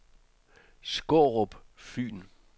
Skårup Fyn